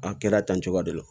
A kɛra tan cogoya de la